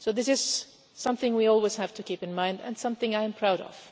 So this is something we always have to keep in mind, and something I'm proud of.